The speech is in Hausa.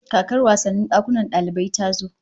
Kakar wasannin dakunan dalibai ta zo